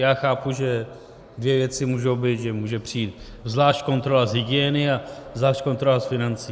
Já chápu, že dvě věci můžou být, že může přijít zvlášť kontrola z hygieny a zvlášť kontrola z financí.